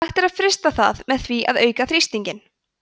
hægt er að frysta það með því að auka þrýstinginn